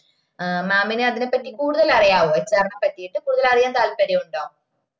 ഏഹ് mam ന് അതിന പറ്റി കൂടുതൽ അറിയാവോ HR നെ പറ്റിട്ട് കൂടുതല് അറിയാന് താൽപര്യം ഉണ്ടോ